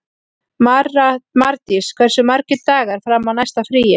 Mardís, hversu margir dagar fram að næsta fríi?